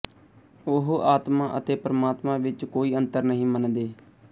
ਉਹ ਆਤਮਾ ਅਤੇ ਪਰਮਾਤਮਾ ਵਿੱਚ ਕੋਈ ਅੰਤਰ ਨਹੀਂ ਮੰਨਦੇ